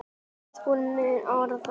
Við vorum mun agaðri.